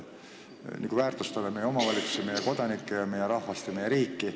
Me ju väärtustame meie omavalitsusi, meie kodanikke, meie rahvast ja meie riiki.